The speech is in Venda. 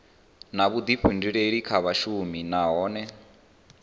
na vhuḓifhinduleli kha vhashumi nahone